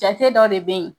Jate dɔ de bɛ ye